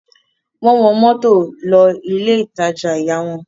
Wọ́n wọ mọ́tò lọ ilé-ìtajà ìyá wọn.